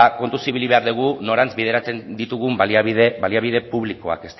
kontuz ibili behar dugu norantz bideratzen ditugun baliabide publikoak